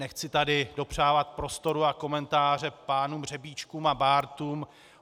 Nechci tady dopřávat prostoru a komentáře pánům Řebíčkům a Bártům.